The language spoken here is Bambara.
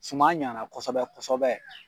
Suma ɲana kosɔbɛ kosɔbɛ